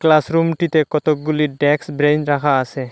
ক্লাসরুমটিতে কতকগুলি ড্যাক্স ব্রেইন রাখা আসে।